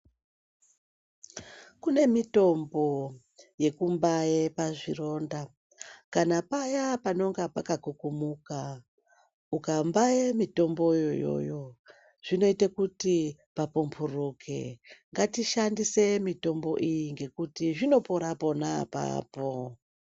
Kune mitombo yekumbaye pazvironda, kana paya panonga pakakukumuka, ukambaye mitomboyo iyoyo zvinoyite kuti papumburuke, ngatishandise mitombo iyi ngekuti zvinopora pona apapo.